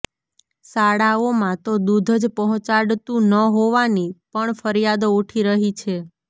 શાળાઓમાં તો દૂધ જ પહોંચાડતું ન હોવાની પણ ફરિયાદો ઉઠી રહી છે